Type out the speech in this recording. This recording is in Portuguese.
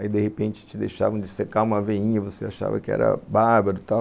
Aí, de repente, te deixavam de secar uma veinha, você achava que era bárbaro e tal.